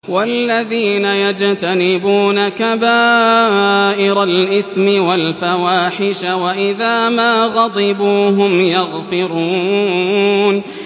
وَالَّذِينَ يَجْتَنِبُونَ كَبَائِرَ الْإِثْمِ وَالْفَوَاحِشَ وَإِذَا مَا غَضِبُوا هُمْ يَغْفِرُونَ